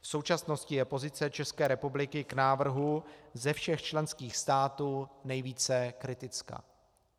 V současnosti je pozice České republiky k návrhu ze všech členských států nejvíce kritická.